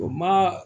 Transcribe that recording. O ma